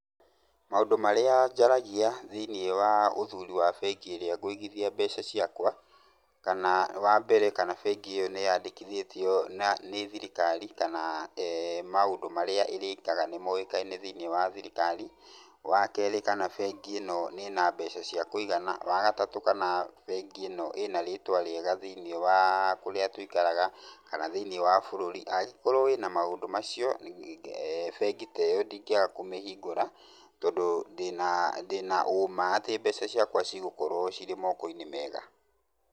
Maũndũ marĩa njaragia thĩiniĩ wa ũthuri wa bengi ĩrĩa ngũigithia mbeca ciakwa ,kana; Wa mbere nĩ kana bengi ĩyo nĩ yandĩkithĩtio nĩ thirikari kana maũndũ marĩa ĩrĩkaga nĩ moĩkaine thĩiniĩ wa thirikari. Wa keerĩ, kana thirikari ĩno ĩna mbeca cia kũigana, wa gatatũ, kana bengi ĩno ĩna rĩtwa rĩega thĩiniĩ wa kũrĩa tũikaraga, kana thĩiniĩ wa bũrũri. Angĩkorwo wĩna maũndũ macio, bengi ta ĩyo ndingĩaga kũmĩhingũra tondũ ndĩna ũma atĩ mbeca ciakwa cigũkorwo cirĩ mooko-inĩ mega.